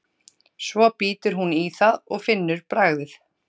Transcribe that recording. Svo bítur hún í það og finnur bragðið.